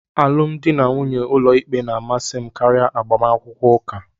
Alụmdi na nwunye n'ụlọikpe na-amasị m karịa agbamakwụkwọ ụka.